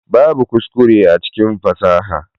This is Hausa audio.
Babbu kuskure a cikin fasaha.